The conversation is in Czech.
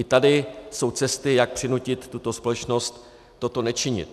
I tady jsou cesty, jak přinutit tuto společnost toto nečinit.